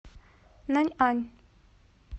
наньань